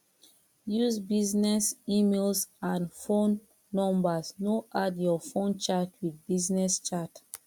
use business emails and phone numbers no add your fun chat with business chat